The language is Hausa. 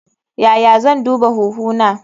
Yaya zan duba huhu na?